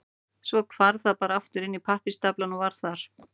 Svo hvarf það bara aftur inn í pappírsstaflana og var þar.